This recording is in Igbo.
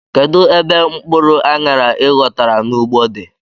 Kedụ ebe mkpụrụ anyara i ghotara n' ụgbọ dị?